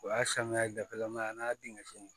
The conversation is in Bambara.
O y'a sanuya dafalen ma ye a n'a denkɛ